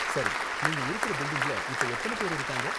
சரி, நீங்க இருக்குற பில்டிங்ல இப்ப எத்தன பேரு இருக்காங்க?